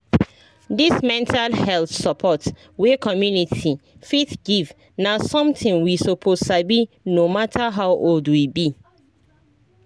this mental health support wey community fit give na something we suppose sabi no matter how old we be